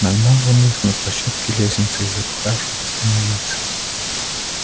нагнал он их на площадке лестницы и запыхавшись остановился